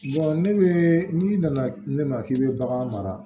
ne bɛ n'i nana ne ma k'i bɛ bagan mara